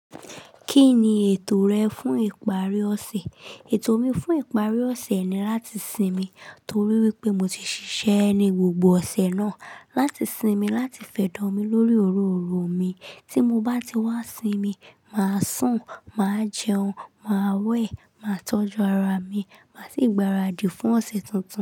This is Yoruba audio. Kí ni ètò rẹ fún ìparí ọ̀sẹ̀? Ètò mi fún ìparí ọ̀sẹ̀ ni láti sinmi torí wípé mo ti ṣiṣẹ́ ni gbogbo ọ̀sẹ̀ náà, láti sinmi, láti fẹ̀dòmi lórí oróòro mi. Tí mo bá ti wá sinmi, màá sùn, màá jẹun, màá wẹ̀, màá tọ́jú ara mi, màá sì gbaradì fún ọ̀sẹ̀ tuntun.